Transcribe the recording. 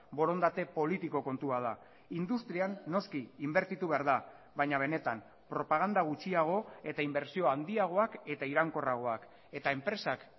borondate politiko kontua da industrian noski inbertitu behar da baina benetan propaganda gutxiago eta inbertsio handiagoak eta iraunkorragoak eta enpresak